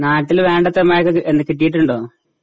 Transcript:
നാട്ടില് വേണ്ടത്ര മഴ ഓക്ക് കിട്ടീട്ടുണ്ടോ?